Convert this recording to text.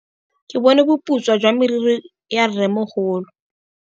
Ke bone boputswa jwa meriri ya rrêmogolo.